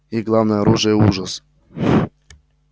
их главное оружие ужас